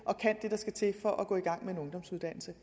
kan det der skal til for at gå i gang med en ungdomsuddannelse